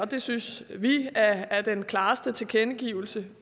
det synes vi er er den klareste tilkendegivelse